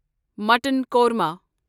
mutton korma